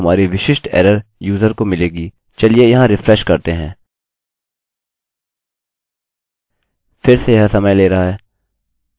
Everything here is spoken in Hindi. चलिए यहाँ रिफ्रेशrefresh करते हैं फिर से यह समय ले रहा है अतः मैं क्षमा मांगता हूँ